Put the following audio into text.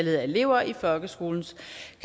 jeg giver ordet